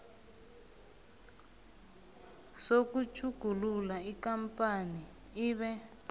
sokutjhugulula ikampani ibe